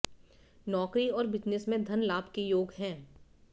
नौकरी और बिजनेस में धन लाभ के योग हैं